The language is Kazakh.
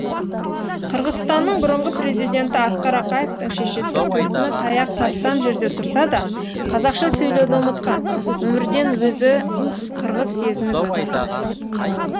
қырғызстанның бұрынғы президенті асқар ақаевтың шешесі төркіні таяқ тастам жерде тұрса да қазақша сөйлеуді ұмытқан өмірден өзін қырғыз сезініп өтті